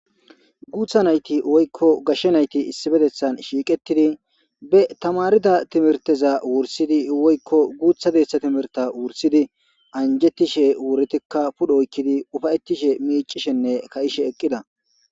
Guutha nayti woykko gashshe nayti issibedethan shiiqettidi be tamarida timirteza wursidi woykko guutha deeththa timirta wursidi anjetishe wuretikka pudhoykkidi ufayettishe miicishenne ka'ishe eqqida.